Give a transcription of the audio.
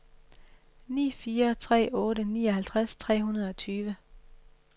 ni fire tre otte nioghalvtreds tre hundrede og tyve